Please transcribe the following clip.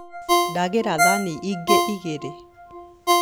Ndagĩra thani ingĩ igiri